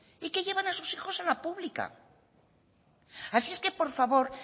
y que llevan a sus hijos a la pública así es que por favor